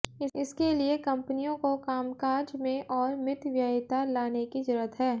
इसके लिये कंपनियों को कामकाज में और मितव्ययिता लाने की जरूरत है